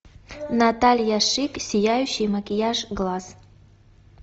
наталья шик сияющий макияж глаз